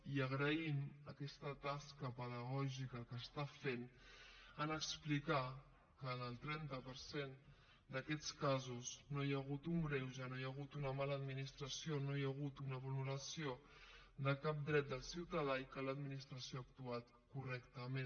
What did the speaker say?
i agraïm aquesta tasca pedagògica que està fent en explicar que en el trenta per cent d’aquests casos no hi ha hagut un greuge no hi ha hagut una mala administració no hi ha hagut una vulneració de cap dret del ciutadà i que l’administració ha actuat correctament